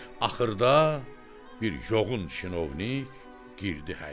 Axırda bir yoğun çinovnik girdi həyətə.